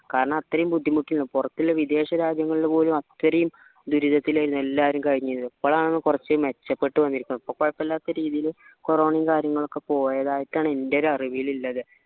കാരണം അത്രയും ബുദ്ധിമുട്ടുണ്ട് പുറത്തുള്ള വിദേശരാജ്യങ്ങൾ പോലും അത്രയും ദുരിതത്തിൽ ആയിരുന്നു എല്ലാരും കഴിനീരുന്നത് ഇപ്പോളാണ് കുറച്ച് മെച്ചപ്പെട്ട വന്നത് ഇപ്പൊ കുഴപ്പില്ലാത്ത രീതിയില് corona യും കാര്യങ്ങളൊക്കെ പോയതായിട്ടാണ് എൻറെ ഒരു അറിവിൽ ഉള്ളത്